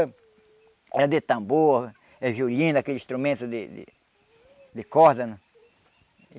Era de tambor, eh violino, aqueles instrumentos de de de corda, né?